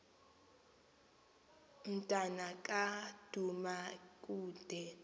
mnta ka dumakude